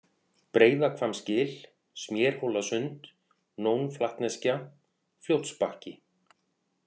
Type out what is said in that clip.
Breiðahvammsgil, Smérhólasund, Nónflatneskja, Fljótsbakki